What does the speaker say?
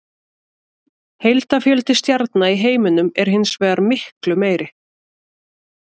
Heildarfjöldi stjarna í heiminum er hins vegar miklu meiri.